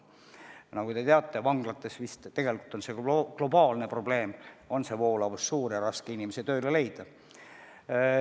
Nagu te teate, vanglates on see tegelikult globaalne probleem, et voolavus on suur ja raske on inimesi tööle leida.